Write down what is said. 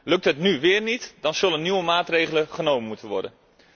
Lukt dit nu weer niet, dan zullen nieuwe maatregelen genomen moeten worden.